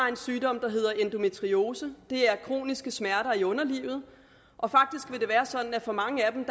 har en sygdom der hedder endometriose det er kroniske smerter i underlivet og for mange af dem